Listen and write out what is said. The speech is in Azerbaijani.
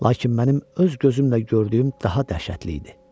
Lakin mənim öz gözümlə gördüyüm daha dəhşətli idi.